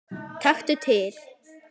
Taktu til.